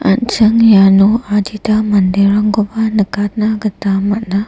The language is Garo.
an·ching iano adita manderangkoba nikatna gita man·a.